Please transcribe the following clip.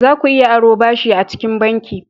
Za ku iya aro ɓashi acikin banki.